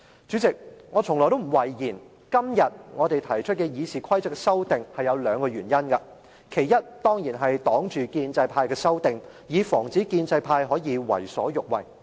主席，我從來不諱言，今天我們提出修訂《議事規則》是有兩個原因，其一，當然是要抵擋建制派的修訂，以防止建制派可以為所欲為。